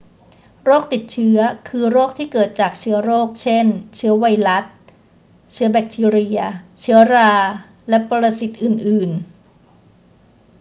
โรคติดเชื้อคือโรคที่เกิดจากเชื้อโรค เช่น เชื้อไวรัส เชื้อแบคทีเรีย เชื้อรา และปรสิตอื่น ๆ